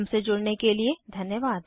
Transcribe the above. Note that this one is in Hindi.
हमसे जुड़ने के लिए धन्यवाद